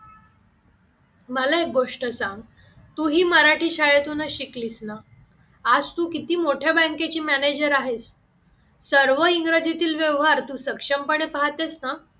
मला एक गोष्ट सांग तू ही मराठी शाळेतूनच शिकलीस ना आज तू किती मोठ्या bank ची मॅनेजर आहेस, सर्व इंग्रजीतील व्यवहार तू सक्षमपणे पहातेच ना?